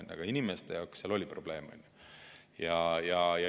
Aga teiste inimeste jaoks oli seal probleem.